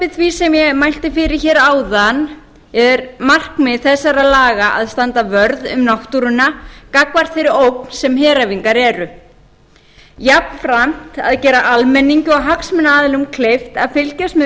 því sem ég mælti fyrir áðan er markmið þessara laga að standa vörð um náttúruna gagnvart þeirri ógn sem heræfingar eru jafnframt að gera almenningi og hagsmunaaðilum kleift að fylgjast með